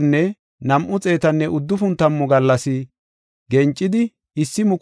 Gencidi 1,335 gallas gakanaw naagiya asi anjetidaysa.